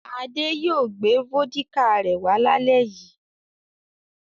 Ade yóò gbé vódíkà rẹ̀ wá lálẹ́ yìí.